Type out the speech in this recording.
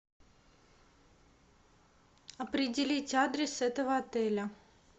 определить адрес этого отеля